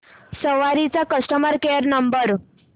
सवारी चा customer care number